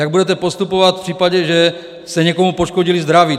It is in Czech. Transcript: Jak budete postupovat v případě, že jste někomu poškodili zdraví?